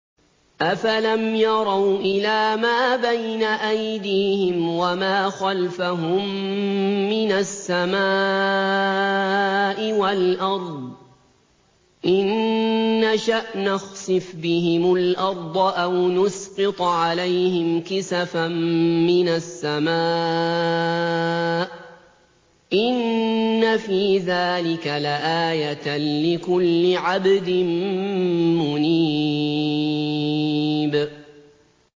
أَفَلَمْ يَرَوْا إِلَىٰ مَا بَيْنَ أَيْدِيهِمْ وَمَا خَلْفَهُم مِّنَ السَّمَاءِ وَالْأَرْضِ ۚ إِن نَّشَأْ نَخْسِفْ بِهِمُ الْأَرْضَ أَوْ نُسْقِطْ عَلَيْهِمْ كِسَفًا مِّنَ السَّمَاءِ ۚ إِنَّ فِي ذَٰلِكَ لَآيَةً لِّكُلِّ عَبْدٍ مُّنِيبٍ